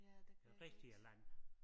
Ja det kan jeg også